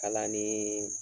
Kalaniin